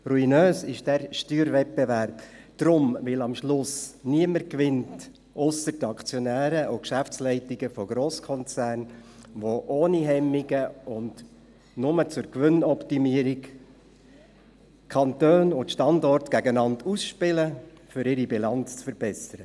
Ruinös ist dieser Steuerwettbewerb deshalb, weil am Ende niemand gewinnt ausser den Aktionären und den Geschäftsleitungen von Grosskonzernen, die ohne Hemmungen und bloss zur Gewinnoptimierung Kantone und Standorte gegeneinander ausspielen, um ihre Bilanz zu verbessern.